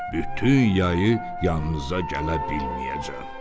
Bütün yayı yanınıza gələ bilməyəcəm.